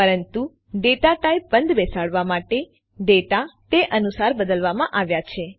પરંતુ data type બંધબેસાડવા માટે ડેટા તે અનુસાર બદલવામાં આવ્યા છે